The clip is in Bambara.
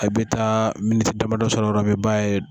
I bɛ taa damadɔ sɔrɔ waati min i b'a ye.